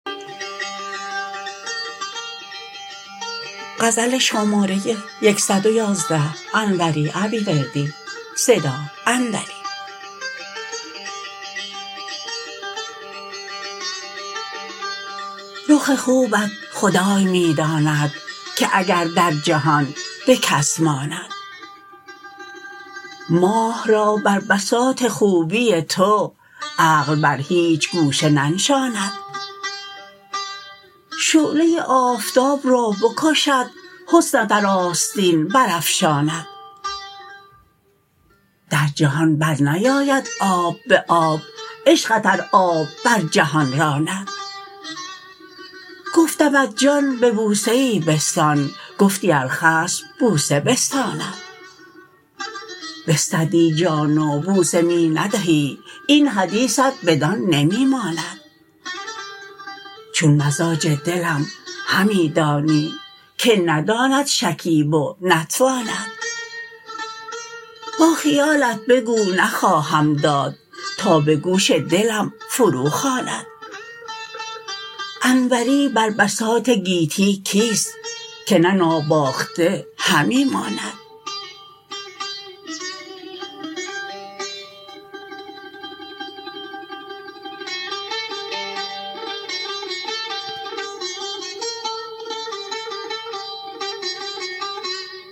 رخ خوبت خدای می داند که اگر در جهان به کس ماند ماه را بر بساط خوبی تو عقل بر هیچ گوشه ننشاند شعله آفتاب را بکشد حسنت ار آستین برافشاند در جهان برنیاید آب به آب عشقت ار آب بر جهان راند گفتمت جان به بوسه ای بستان گفتی ار خصم بوسه بستاند بستدی جان و بوسه می ندهی این حدیثت بدان نمی ماند چون مزاج دلم همی دانی که نداند شکیب و نتواند با خیالت بگو نخواهم داد تا به گوش دلم فرو خواند انوری بر بساط گیتی کیست که نه ناباخته همی ماند